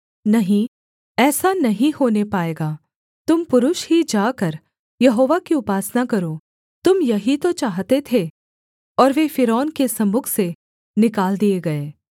नहीं ऐसा नहीं होने पाएगा तुम पुरुष ही जाकर यहोवा की उपासना करो तुम यही तो चाहते थे और वे फ़िरौन के सम्मुख से निकाल दिए गए